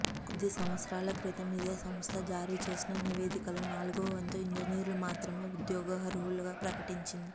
కొద్ది సంవత్సరాల క్రితం ఇదే సంస్థ జారీ చేసిన నివేదికలో నాలుగోవంతు ఇంజనీర్లు మాత్రమే ఉద్యోగార్హులుగా ప్రకటించింది